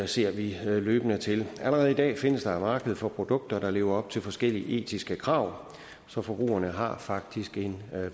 ser vi løbende til allerede i dag findes der et marked for produkter der lever op til forskellige etiske krav så forbrugerne har faktisk en